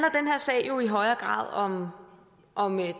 sag jo i højere grad om